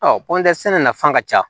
sɛnɛ nafa ka ca